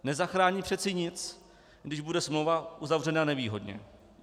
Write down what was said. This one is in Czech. Nezachrání přeci nic, když bude smlouva uzavřena nevýhodně.